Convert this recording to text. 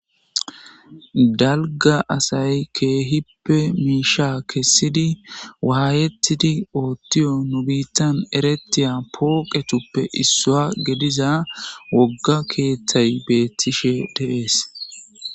Dalga asay keehippe miisha kessidi waayettidi oottiyo nu biittan eretiya pooqetuppe issua gediza wogga keeththay beettishe deees